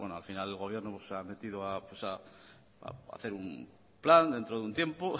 al final el gobierno pues ha metido a hacer un plan dentro de un tiempo